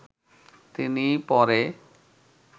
তিনি পরে